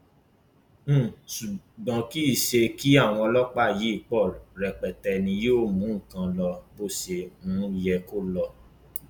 um ṣùgbọn kì í ṣe kí àwọn ọlọpàá yìí pọ rẹpẹtẹ ni yóò mú nǹkan lọ bó ṣe um yẹ kó lọ